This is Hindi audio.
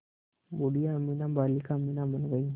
बूढ़िया अमीना बालिका अमीना बन गईं